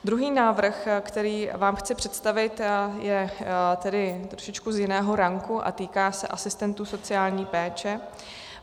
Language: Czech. Druhý návrh, který vám chci představit, je tedy z trošičku jiného ranku a týká se asistentů sociální péče.